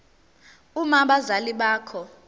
uma abazali bakho